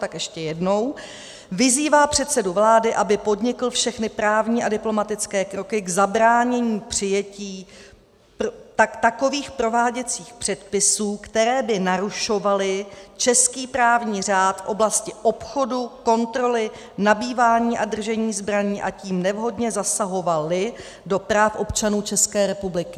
Tak ještě jednou: "Vyzývá předsedu vlády, aby podnikl všechny právní a diplomatické kroky k zabránění přijetí takových prováděcích předpisů, které by narušovaly český právní řád v oblasti obchodu, kontroly, nabývání a držení zbraní, a tím nevhodně zasahovaly do práv občanů České republiky."